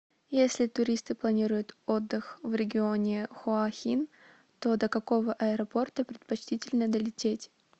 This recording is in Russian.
если туристы планируют отдых в регионе хуа хин то до какого аэропорта предпочтительно долететь